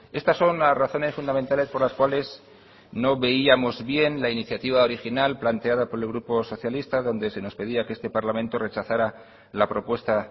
estas son las razones fundamentales por las cuales no veíamos bien la iniciativa original planteada por el grupo socialista donde se nos pedía que este parlamento rechazara la propuesta